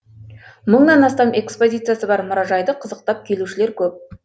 мыңнан астам экспозициясы бар мұражайды қызықтап келушілер көп